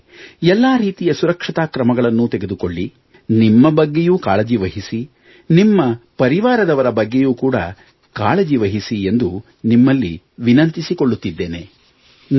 ಹಾಗೆಯೇ ಎಲ್ಲಾ ರೀತಿಯ ಸುರಕ್ಷತಾ ಕ್ರಮಗಳನ್ನು ತೆಗೆದುಕೊಳ್ಳಿ ನಿಮ್ಮ ಬಗ್ಗೆಯೂ ಕಾಳಜಿ ವಹಿಸಿ ನಿಮ್ಮ ಪರಿವಾರದವರ ಬಗ್ಗೆಯೂ ಕೂಡ ಕಾಳಜಿ ವಹಿಸಿ ಎಂದು ನಿಮ್ಮಲ್ಲಿ ವಿನಂತಿಸಿಕೊಳ್ಳುತ್ತಿದ್ದೇನೆ